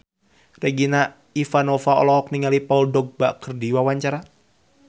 Regina Ivanova olohok ningali Paul Dogba keur diwawancara